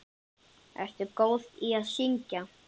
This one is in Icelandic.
Ertu góð í að syngja?